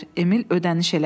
Emil ödəniş elədi.